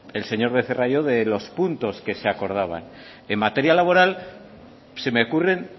el señor becerra y yo de los puntos que se acordaban en materia laboral se me ocurren